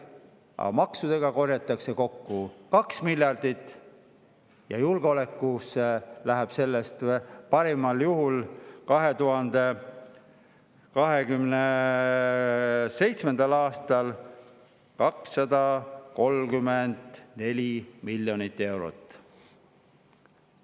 Aga maksudega korjatakse kokku 2 miljardit ja julgeolekusse läheb sellest 2027. aastal parimal juhul 234 miljonit eurot.